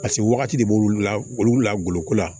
Paseke wagati de b'olu la olu la goloko la